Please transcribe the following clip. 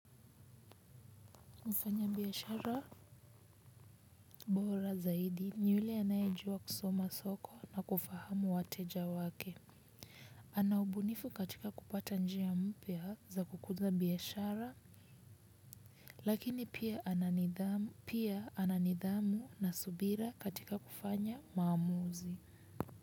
Mfanyabiashara bora zaidi ni yule anayejua kusoma soko na kufahamu wateja wake. Ana ubunifu katika kupata njia mpya za kukuza biashara lakini pia ana nidhamu na subira katika kufanya maamuzi.